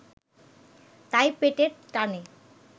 তাই পেটের টানে